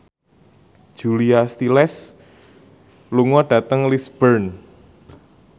Julia Stiles lunga dhateng Lisburn